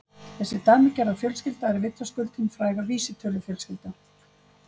Þessi dæmigerða fjölskylda er vitaskuld hin fræga vísitölufjölskylda.